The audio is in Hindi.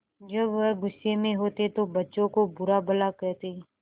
जब वह गुस्से में होते तो बच्चों को बुरा भला कहते